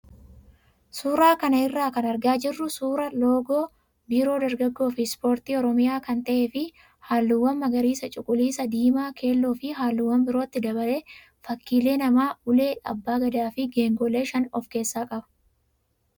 Suuraa kana irraa kan argaa jirru suuraa loogoo biiroo dargaggoo fi ispoortii oromiyaa kan ta'ee fi halluuwwan magariisa, cuquliisaa, diimaa, keelloo fi halluuwwan birootti dabalee fakkiilee namaa, ulee abbaa gadaa fi geengoolee shan of keessaa qaba.